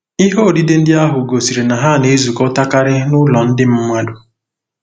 Ihe odide ndị ahụ gosiri na ha na-ezukọtakarị n’ụlọ ndị mmadụ.